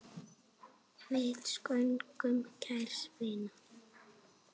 Við söknum kærs vinar.